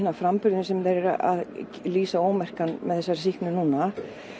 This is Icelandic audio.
framburðurinn sem þeir eru að lýsa ómerkan með þessari sýknu núna